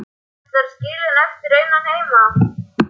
Ætlarðu að skilja hann eftir einan heima?